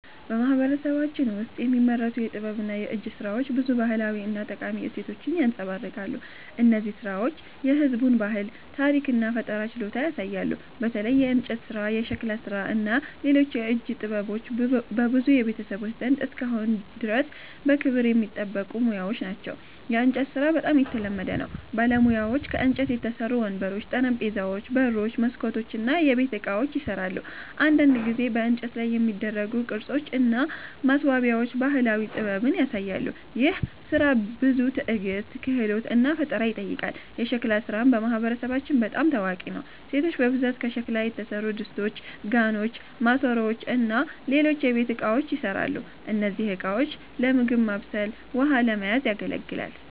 በማህበረሰባችን ውስጥ የሚመረቱ የጥበብና የእጅ ሥራዎች ብዙ ባህላዊ እና ጠቃሚ እሴቶችን ያንጸባርቃሉ። እነዚህ ሥራዎች የህዝቡን ባህል፣ ታሪክ እና ፈጠራ ችሎታ ያሳያሉ። በተለይ የእንጨት ሥራ፣ የሸክላ ሥራ እና ሌሎች የእጅ ጥበቦች በብዙ ቤተሰቦች ዘንድ እስካሁን ድረስ በክብር የሚጠበቁ ሙያዎች ናቸው። የእንጨት ሥራ በጣም የተለመደ ነው። ባለሙያዎች ከእንጨት የተሠሩ ወንበሮች፣ ጠረጴዛዎች፣ በሮች፣ መስኮቶች እና የቤት ዕቃዎችን ይሠራሉ። አንዳንድ ጊዜ በእንጨት ላይ የሚደረጉ ቅርጾች እና ማስዋቢያዎች ባህላዊ ጥበብን ያሳያሉ። ይህ ሥራ ብዙ ትዕግስት፣ ክህሎት እና ፈጠራ ይጠይቃል። የሸክላ ሥራም በማህበረሰባችን በጣም ታዋቂ ነው። ሴቶች በብዛት ከሸክላ የተሠሩ ድስቶች፣ ጋኖች፣ ማሰሮዎች እና ሌሎች የቤት እቃዎችን ይሠራሉ። እነዚህ ዕቃዎች ለምግብ ማብሰል ውሃ ለመያዝ ያገለግላል